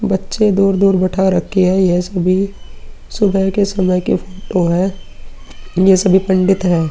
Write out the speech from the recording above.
बच्चे दूर-दूर बैठा रखे हैं। यह सभी सुबह के समय की फोटो है। ये सभी पंडित हैं।